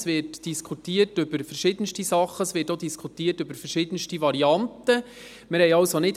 Es wird über verschiedenste Sachen diskutiert, auch über verschiedenste Varianten.